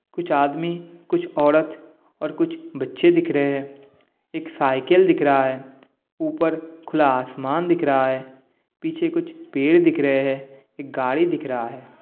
कुछ आदमी कुछ औरत और कुछ बच्चे दिख रहे हैंएक साइकिल दिख रहा हैं ऊपर खुला आसमान दिख रहा हैं पीछे कुछ पेड़ दिख रहे हैं एक गाड़ी दिख रहा हैं।